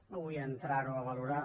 no vull entrar ho a valorar